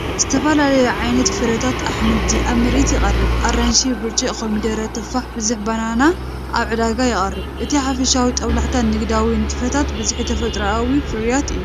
ዝተፈላለየ ዓይነት ፍረታትን ኣሕምልትን ኣብ ምርኢት ይቐርብ። ኣራንሺ፡ ብርጭቅ፡ ኮሚደረ፡ ቱፋሕን ብዙሕ ባናናን ኣብ ዕዳጋ ይቐርብ። እቲ ሓፈሻዊ ጦብላሕታ ንግዳዊ ንጥፈታትን ብዝሒ ተፈጥሮኣዊ ፍርያትን እዩ።